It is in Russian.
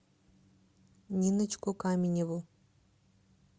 ниночку каменеву